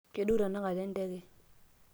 kedou tenakata enteke